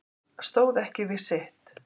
Stóð ekki við sitt